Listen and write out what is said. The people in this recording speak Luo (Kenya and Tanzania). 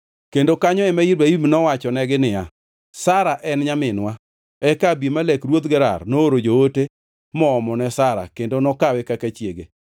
kendo kanyo ema Ibrahim nowachonegi niya, “Sara en nyaminwa.” Eka Abimelek ruodh Gerar nooro joote moomone Sara kendo nokawe kaka chiege.